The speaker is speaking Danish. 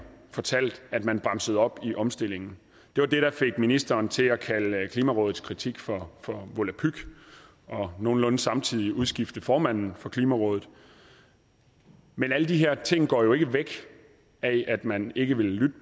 fortalt at man bremsede op i omstillingen det var det der fik ministeren til at kalde klimarådets kritik for for volapyk og nogenlunde samtidig udskifte formanden for klimarådet men alle de her ting går jo ikke væk af at man ikke vil lytte